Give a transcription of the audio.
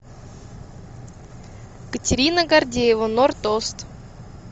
катерина гордеева норд ост